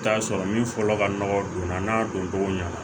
I bi t'a sɔrɔ min fɔlɔ ka nɔgɔ donna n'a doncogo ɲɛna